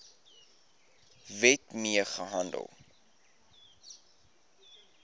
wet mee gehandel